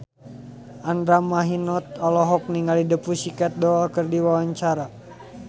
Andra Manihot olohok ningali The Pussycat Dolls keur diwawancara